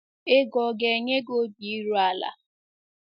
Ego ọ ga - enye gị obi iru ala?